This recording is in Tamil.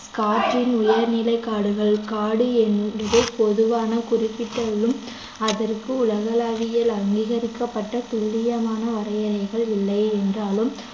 காட்டின் உயர்நிலை காடுகள் காடு என்பது பொதுவான குறிப்பிட்டலும் அதற்கு உலகளாவியல் அங்கீகரிக்கப்பட்ட துல்லியமான வரையறைகள் இல்லை என்றாலும்